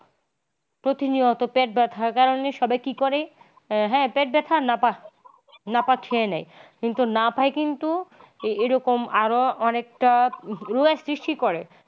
প্রতিনিয়ত পেট ব্যাথার কারণে সবাই কি করে হ্যা পেট ব্যাথা না পাহ নাপা খেয়ে নেয়। নাপায় কিন্তু এরকম আরো অনেকটা রোগের সৃষ্টি করে।